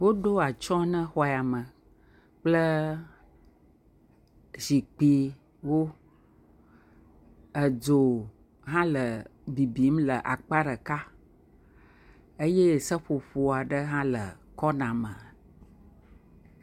Woɖo ats na xɔyame kple zikpuiwo. Edzo hã le bibim le akpa ɖeka eye seƒoƒo aɖe hã le kɔna me.